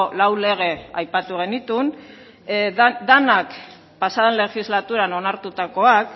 lau lege aipatu genituen denak pasaden legislaturan onartutakoak